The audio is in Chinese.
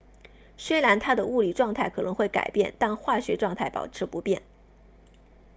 虽然它的物理状态可能会改变但化学状态保持不变